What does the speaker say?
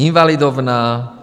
Invalidovna.